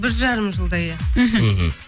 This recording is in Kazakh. бір жарым жылдай иә мхм